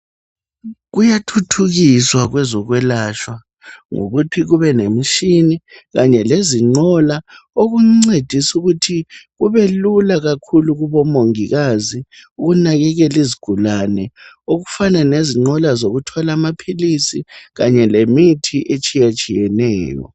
Kuyathuthukiswa ngokwelatshwa ukuthi akusahluphi sekule nqola ,lemitshina encedisayo ukuthi kubelula kubomongikazi nxa bethwala imithi ngezinqola bencedisa abagulayo.